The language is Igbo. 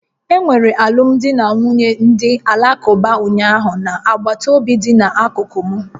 Enwere alụmdi na nwunye ndị Alakụba ụnyaahụ na agbataobi dị n'akụkụ m